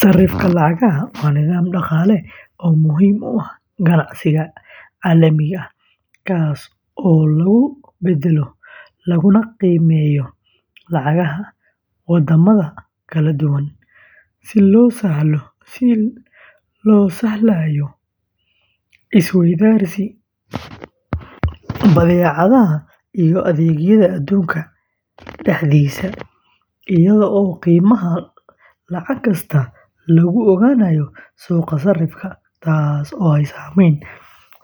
Sarrifka lacagaha waa nidaam dhaqaale oo muhiim u ah ganacsiga caalamiga ah, kaas oo lagu beddelo laguna qiimeeyo lacagaha waddamada kala duwan, si loo sahlayo is-weydaarsiga badeecadaha iyo adeegyada adduunka dhexdiisa, iyadoo qiimaha lacag kasta lagu ogaanayo suuqa sarrifka, taasoo ay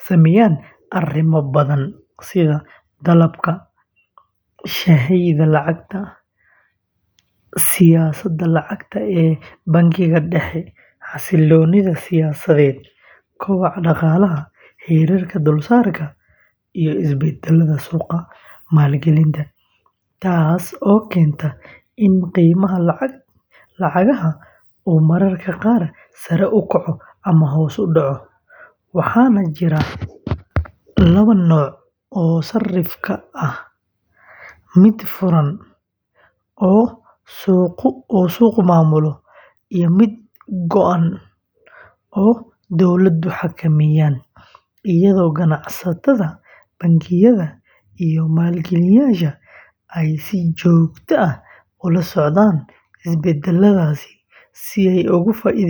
saameeyaan arrimo badan sida dalabka iyo sahayda lacagta, siyaasadda lacagta ee bangiyada dhexe, xasiloonida siyaasadeed, kobaca dhaqaalaha, heerarka dulsaarka, iyo isbeddelada suuqa maalgelinta, taas oo keenta in qiimaha lacagaha uu mararka qaar sare u kaco ama hoos u dhaco, waxaana jira laba nooc oo sarrif ah: mid furan oo suuqu maamulo iyo mid go’an oo dowladuhu xakameeyaan, iyadoo ganacsatada, bangiyada, iyo maalgeliyeyaasha ay si joogto ah ula socdaan isbeddeladaasi si ay ugu faa’iideystaan.